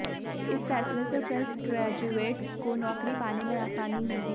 इस फैसले से अब फ्रेश ग्रेजुएट्स को नौकरी पाने में आसानी होगी